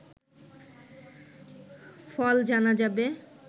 ফল জানা যাবে